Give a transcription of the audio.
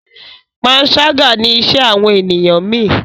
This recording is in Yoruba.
panṣaga ní iṣé àwọn ènìyàn mí.